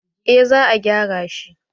eh za a gyara shi